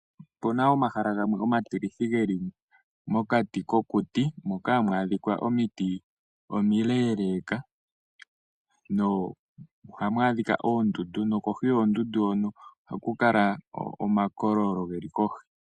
Opuna omahala gamwe omatilithi geli mokati kokuti moka hamu adhika omiti omileleka no ohamu adhika oondundu no kohi yoondundu hono ohaku kala omakololo geli kohi.